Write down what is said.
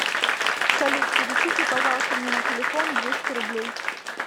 салют перечисли пожалуйста мне на телефон двести рублей